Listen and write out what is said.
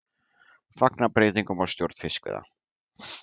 Fagna breytingum á stjórn fiskveiða